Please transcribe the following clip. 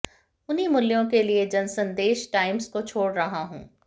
उन्हीं मूल्यों के लिए मैं जनसंदेश टाइम्स को छोड़ रहा हूं